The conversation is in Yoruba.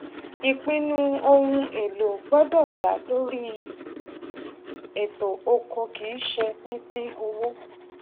ìpinnu ohun èlò gbọdọ dá lórí eto ọkọ kì í ṣe pínpín owó